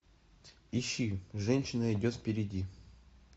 ищи женщина идет впереди